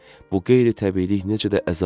Bu qeyri-təbiilik necə də əzablı idi?